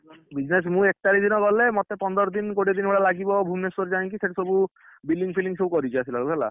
Business ମୁଁ, ଏକ ତାରିଖ ଦିନ ଗଲେ ମୋତେ ପନ୍ଦର ଦିନ କୋଡିଏ ଦିନ ଭଳିଆ ଲାଗିବ ଭୁବନେଶ୍ବର ଯାଇକି ସେଇଠି ସବୁ, billing ଫିଲିଂ ସବୁ କରିକି ଆସିଲା ବେଳକୁ ହେଲା।